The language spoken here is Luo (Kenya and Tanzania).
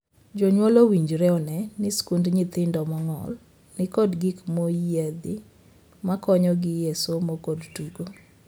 Jonyuol owinjore onee ni skund nyithindo mong'ol ni kod gik moyiedhi ma konyogi e somo kod tugo.